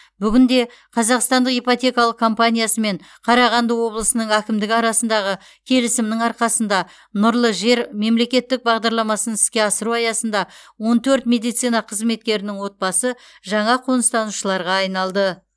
бүгінде қазақстандық ипотекалық компаниясы мен қарағанды облысының әкімдігі арасындағы келісімнің арқасында нұрлы жер мемлекеттік бағдарламасын іске асыру аясында он төрт медицина қызметкерінің отбасы жаңа қоныстанушыларға айналды